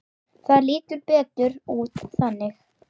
Það lítur betur út þannig.